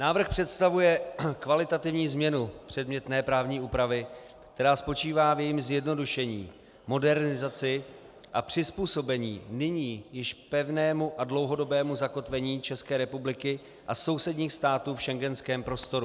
Návrh představuje kvalitativní změnu předmětné právní úpravy, která spočívá v jejím zjednodušení, modernizaci a přizpůsobení nyní již pevnému a dlouhodobému zakotvení České republiky a sousedních států v schengenském prostoru.